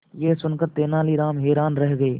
यह सुनकर तेनालीराम हैरान रह गए